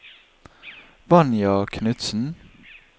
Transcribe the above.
Vanja Knutsen